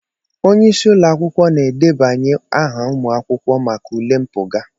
Onyeisi ụlọ akwụkwọ na-edebanye aha ụmụ akwụkwọ maka ule mpụga.